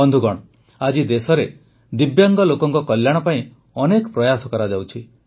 ବନ୍ଧୁଗଣ ଆଜି ଦେଶରେ ଦିବ୍ୟାଙ୍ଗ ଲୋକଙ୍କ କଲ୍ୟାଣ ପାଇଁ ଅନେକ ପ୍ରୟାସ କରାଯାଉଛି